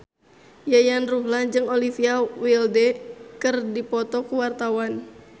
Yayan Ruhlan jeung Olivia Wilde keur dipoto ku wartawan